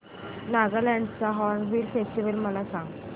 नागालँड चा hornbill festival मला सांग